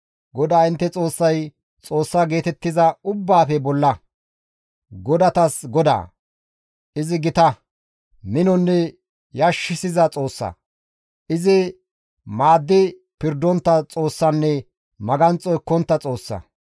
GODAA intte Xoossay xoossa geetettiza ubbaafe bolla; godatas Godaa; izi gita, minonne yashshiza Xoossa; izi maaddi pirdontta Xoossanne maganxo ekkontta Xoossa.